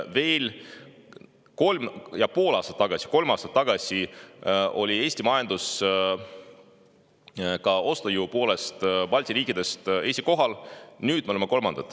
Veel kolm ja pool aastat tagasi, veel kolm aastat tagasi oli Eesti majandus ka ostujõu poolest Balti riikide majanduste seas esikohal.